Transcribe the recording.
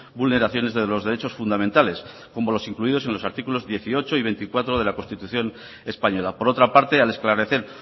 vulneraciones de los derechos fundamentales como los incluidos en los artículos dieciocho y veinticuatro de la constitución española por otra parte al esclarecer